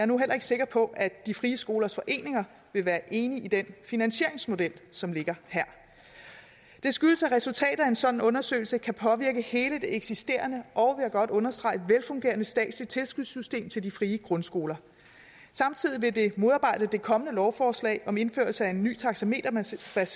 nu heller ikke sikker på at de frie skolers foreninger vil være enige i den finansieringsmodel som ligger her det skyldes at resultatet af en sådan undersøgelse kan påvirke hele det eksisterende og vil jeg godt understrege velfungerende statslige tilskudssystem til de frie grundskoler samtidig vil det modarbejde det kommende lovforslag om indførelse af en ny taxameterbaseret